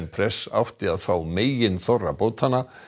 press átti að fá meginþorra bótanna